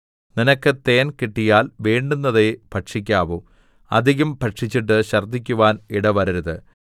നിനക്ക് തേൻ കിട്ടിയാൽ വേണ്ടുന്നതേ ഭക്ഷിക്കാവൂ അധികം ഭക്ഷിച്ചിട്ട് ഛർദ്ദിക്കുവാൻ ഇടവരരുത്